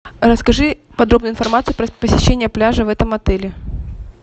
расскажи подробную информацию про посещение пляжа в этом отеле